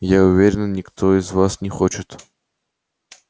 я уверен никто из вас не хочет